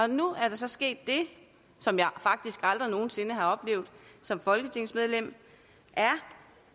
nu er der så sket det som jeg faktisk aldrig nogensinde har oplevet som folketingsmedlem